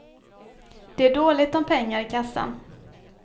Det är dåligt om pengar i kassan.